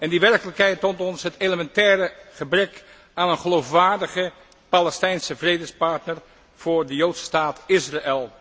Die werkelijkheid toont ons het elementaire gebrek aan een geloofwaardige Palestijnse vredespartner voor de Joodse staat Israël.